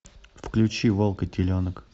включи волк и теленок